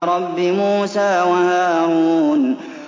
رَبِّ مُوسَىٰ وَهَارُونَ